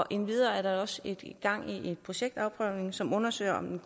endvidere er der også gang i en projektafprøvning som undersøger om